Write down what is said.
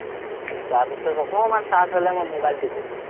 তাৰপিচত অকণমান charge হ'লেই মই মোবাইল টিপো,